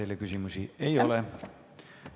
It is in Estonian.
Teile küsimusi ei ole.